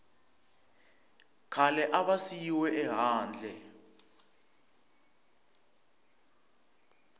khale a va siyiwe ehandle